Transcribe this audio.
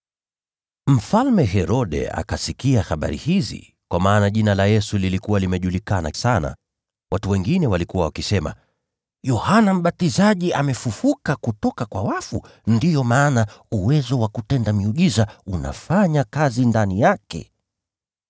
Mfalme Herode akasikia habari hizi, kwa maana jina la Yesu lilikuwa limejulikana sana. Watu wengine walikuwa wakisema, “Yohana Mbatizaji amefufuliwa kutoka kwa wafu, ndiyo sababu nguvu za kutenda miujiza zinafanya kazi ndani yake.”